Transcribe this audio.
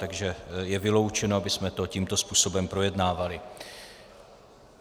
Takže je vyloučeno, abychom to tímto způsobem projednávali.